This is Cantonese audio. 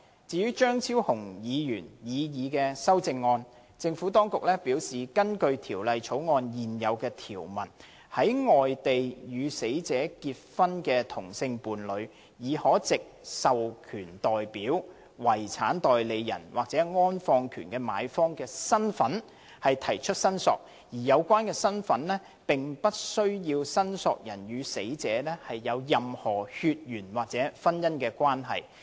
至於張超雄議員的擬議修正案，政府當局表示，根據《條例草案》現有條文，在外地與死者結婚的同性伴侶，已可藉"獲授權代表"、"遺產代理人"或"安放權的買方"的身份提出申索，而有關身份並不需要申索人與死者有任何血緣或婚姻關係。